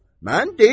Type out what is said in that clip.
Mən deyirəm.